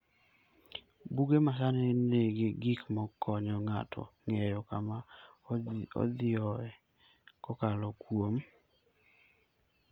Buge masani nigi gik makonyo ng'ato ng'eyo kama odhiyoe kokalo kuom